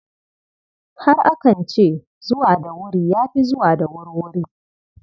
Har akan ce, zuwa da wuri ya fi zuwa da wurwuri.